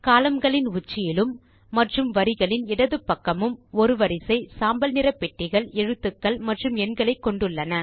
columnகளின் உச்சியிலும் மற்றும் வரிகளின் இடது பக்கமும் ஒரு வரிசை சாம்பல் நிற பெட்டிகள் எழுத்துக்கள் மற்றும் எண்களை கொண்டுள்ளன